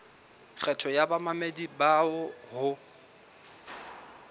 kgetho ya bamamedi bao ho